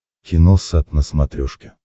киносат на смотрешке